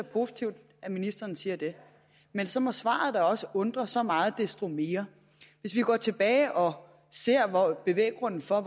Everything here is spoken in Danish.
positivt at ministeren siger men så må svaret da også undre så meget desto mere hvis vi går tilbage og ser på var bevæggrunden for